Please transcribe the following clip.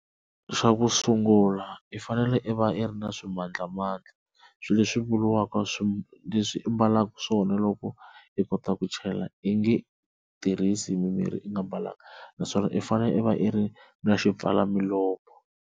Xa ku sungula i fanele i va i ri na swimandlamandla swilo leswi vuriwaka leswi i ambalaka swona loko i kota ku chela i nge tirhisi mirhi i nga mbalanga naswona i fanele i va i ri na xipfala milomo.